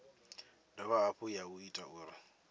dovha hafhu ya ita uri